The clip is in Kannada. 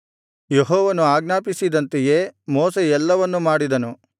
ಯೆಹೋವನು ಆಜ್ಞಾಪಿಸಿದಂತೆಯೇ ಮೋಶೆ ಎಲ್ಲವನ್ನು ಮಾಡಿದನು